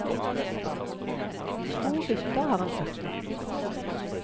To hytter har han satt opp.